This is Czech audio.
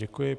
Děkuji.